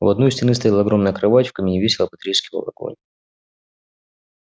у одной стены стояла огромная кровать в камине весело потрескивал огонь